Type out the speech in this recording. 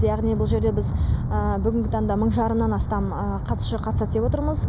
яғни бұл жерде біз бүгінгі таңда мың жарымнан астам қатысушы қатысады деп отырмыз